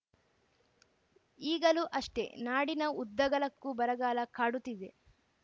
ಈಗಲೂ ಅಷ್ಟೆ ನಾಡಿನ ಉದ್ದಗಲಕ್ಕೂ ಬರಗಾಲ ಕಾಡುತ್ತಿದೆ